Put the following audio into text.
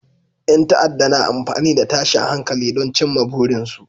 Yan ta'adda na amfani da tashin hankali don cimma burinsu